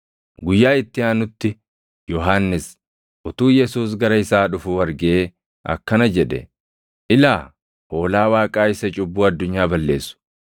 Guyyaa itti aanutti Yohannis utuu Yesuus gara isaa dhufuu argee akkana jedhe; “Ilaa Hoolaa Waaqaa isa cubbuu addunyaa balleessu!